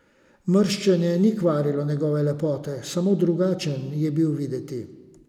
Mrščenje ni kvarilo njegove lepote, samo drugačen je bil videti.